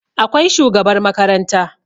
Akwai shugabar makaranta